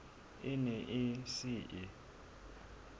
e ne e se e